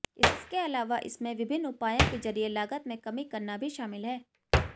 इसके अलावा इसमें विभिन्न उपायों के जरिये लागत में कमी करना भी शामिल है